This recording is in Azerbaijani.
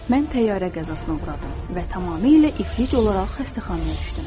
Mən təyyarə qəzasına uğradım və tamamilə iflic olaraq xəstəxanaya düşdüm.